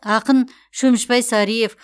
ақын шөмішбай сариев